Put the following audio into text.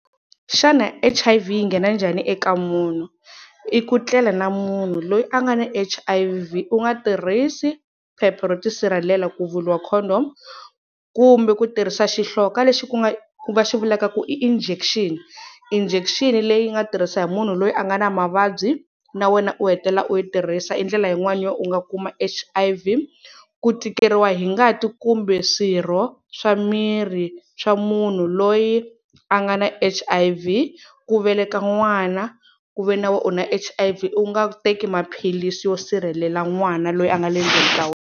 Xana H_I_V yi nghena njhani eka munhu? I ku tlela na munhu loyi a nga na H_I_V u nga tirhisi phepha ro ti sirhelela ku vuriwa condom, kumbe ku tirhisa xihloka lexi ku nga va xivulaka ku i injection, injection leyi nga tirhisa hi munhu loyi a nga na mavabyi, na wena u hetelela u yi tirhisa i ndlela yin'wani yo u nga kuma H_I_V. Ku tikeriwa hi ngati kumbe swirho swa mirhi swa munhu loyi a nga na H_I_V, ku veleka n'wana ku ve ni u na H_I_V, u nga teki maphilisi yo sirhelela n'wana loyi a nga le ndzeni ka wena.